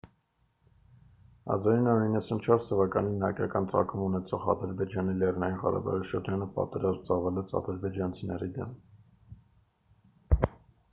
1994 թվականին հայկական ծագում ունեցող ադրբեջանի լեռնային ղարաբաղի շրջանը պատերազմ ծավալեց ադրբեջանցիների դեմ